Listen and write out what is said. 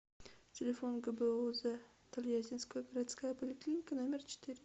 телефон гбуз тольяттинская городская поликлиника номер четыре